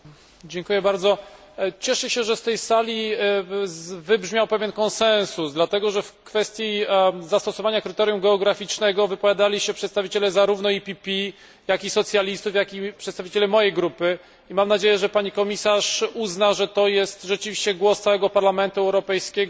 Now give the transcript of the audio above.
Cieszę się, że z tej sali wybrzmiał pewien konsensus, dlatego że w kwestii zastosowania kryterium geograficznego wypowiadali się przedstawiciele zarówno PPE, jak i socjalistów, jak i przedstawiciele mojej grupy, i mam nadzieję, że Pani Komisarz uzna, że to jest rzeczywiście głos całego Parlamentu Europejskiego i uzna Pani to za